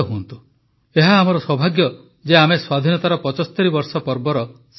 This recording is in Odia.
ଏହା ଆମର ସୌଭାଗ୍ୟ ଯେ ଆମେ ସ୍ୱାଧୀନତାର ୭୫ ବର୍ଷ ପର୍ବର ସାକ୍ଷୀ ହେଉଛୁ